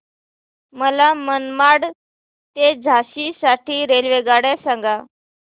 मला मनमाड ते झाशी साठी रेल्वेगाड्या सांगा